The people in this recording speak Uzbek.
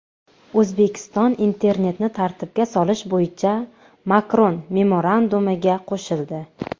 O‘zbekiston internetni tartibga solish bo‘yicha Makron memorandumiga qo‘shildi.